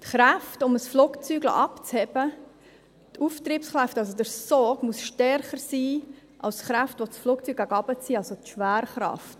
Die Kräfte, um ein Flugzeug abheben zu lassen, die Auftriebskräfte, also der Sog, muss stärker sein als die Kräfte, die das Flugzeug nach unten ziehen, also die Schwerkraft.